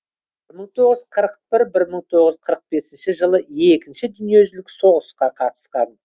бір мың тоғыз жүз қырық бір бір мың тоғыз жүз қырық бесінші жылы екінші дүниежүзілік соғысқа қатысқан